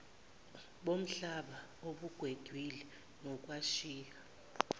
bomhlaba obugwegwile nokwashiya